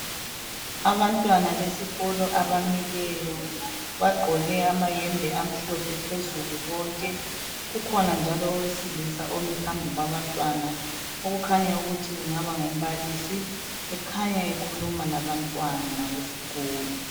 abantwana besikolo abamileyo bagqoke amahembe amhlophe phezulu bonke kukhona njalo owesilisa omeleyo phambili kwabantwana okukhanya ukuthi engaba ngumbalisi ekhanya ekhuluma labantwana besikolo